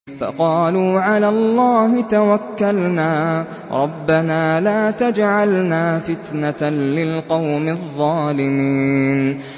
فَقَالُوا عَلَى اللَّهِ تَوَكَّلْنَا رَبَّنَا لَا تَجْعَلْنَا فِتْنَةً لِّلْقَوْمِ الظَّالِمِينَ